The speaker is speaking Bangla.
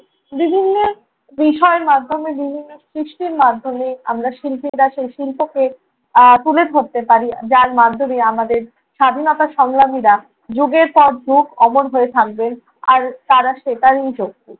বিষয়ের মাধ্যমে, বিভিন্ন সৃষ্টির মাধ্যমে। আমরা শিল্পীরা সেই শিল্পকে আহ তুলে ধরতে পারি। যার মাধ্যমে আমাদের স্বাধীনতা সংগ্রামীরা যুগের পর যুগ অমর হয়ে থাকবেন আর তারা সেটারই যোগ্য।